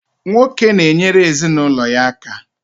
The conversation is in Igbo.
Nwoke na-enyere ezinụlọ ya aka.